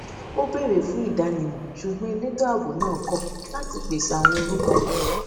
ó bèrè fún ìdánimọ ṣùgbọn elétò ààbò náà kọ láti pèsè àwọn orúkọ